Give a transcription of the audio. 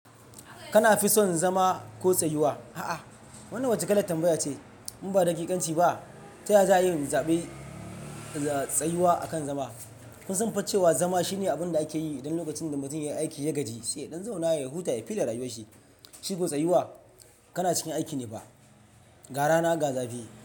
Kana fi son zama ko tsayuwa? A'a, wannan wace kalar tambaya ce. In ba daƙiƙanci ba, ta ya za a yi inzaɓi tsayuwa akan zama? Kun san fa cewa zama shine abin da ake yi idan lokacin da mutum ya yi aiki ya gaji, sai ya ɗan zauna ya huta ya fi da rayuwarshi. Shi ko tsayuwa kana cikin aiki ne fa. Ga rana ga zafi.